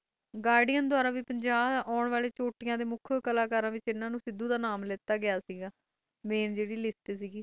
garden ਦੂਰਾ ਵੀ ਆਂ ਵਾਲੇ ਪਚਾਸੀ ਚੋਟ ਡੇ ਕਲਾਕਾਰਾਂ ਦੀ ਨਾਮ ਵਿਚ ਸਿੱਧੂ ਦਾ ਵੀ ਨਾਮ ਸੀ ਮੇਨ ਜਰੀ ਲਿਸਟ ਸੀ